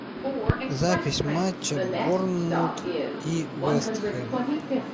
запись матча борнмут и вест хэм